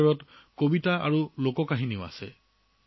ইয়াৰ ভিতৰত কবিতা আৰু লোকগীত